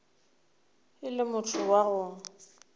e le motho wa go